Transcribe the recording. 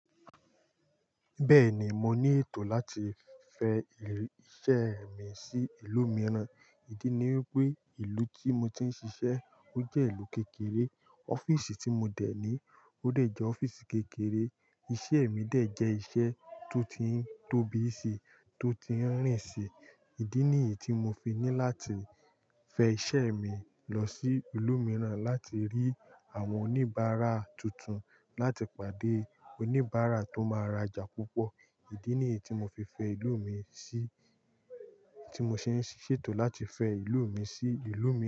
Bẹ́ẹ̀ni, mo ní ètò láti fẹ iṣẹ́ mi sí ìlú mìíràn. Ìdí ni wípé ìlú tí mo ti ń ṣiṣẹ́ ó jẹ́ ìlú kékeré. Ọ́fíìsì tí mo dẹ̀ ní ó dẹ̀ jẹ́ ọ́fíìsì kékeré. Iṣẹ́ mi dẹ̀ jẹ́ ìṣẹ́ tó ti ń tóbi si, tó ti ń rìn si. Ìdí nìyí tí mo fi ní láti fẹ iṣẹ́ mi lọ sí ìlú mìíràn láti rí àwọn oníbàárà tuntun, láti pàdé oníbàárà tó máa rajà púpọ̀. Ìdí nìyí tí mo fi fẹ ìlú mi sí-- tí mo ṣe ń ṣètò láti fẹ ìlú mi sí ìlú mìíràn.